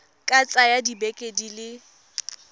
ka tsaya dibeke di le